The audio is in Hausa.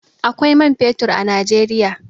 Akwai man fetur a Najeriya.